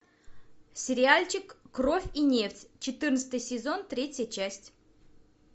сериальчик кровь и нефть четырнадцатый сезон третья часть